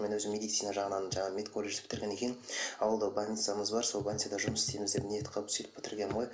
мен өзім медицина жағынан жаңағы медколледжді бітіргеннен кейін ауылда больницамыз бар сол больницада жұмыс істейміз деп ниет қылып сөйтіп бітіргенмін ғой